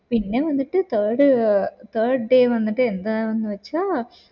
പിന്നെ വന്നിട്ട് third third day വന്നിട്ട് എന്താണന്ന് വച്ച